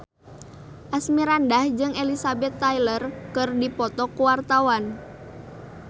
Asmirandah jeung Elizabeth Taylor keur dipoto ku wartawan